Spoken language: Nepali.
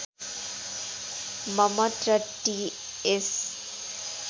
मम्मट र टीएस